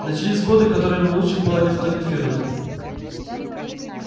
начались годы которые лучше было не фотографировать